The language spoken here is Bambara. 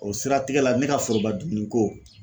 O siratigɛ la ne ka foroba dumuniko